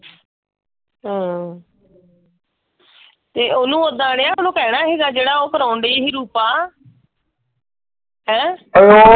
ਹਮ ਤੇ ਉਹਨੂੰ ਉਹਦਾਂ ਉਹਨੂੰ ਕਹਿਣਾ ਸੀਗਾ ਜਿਹੜਾ ਉਹ ਕਰਾਉਣ ਡਈ ਸੀ ਰੂਪਾ। ਹੈਂ ,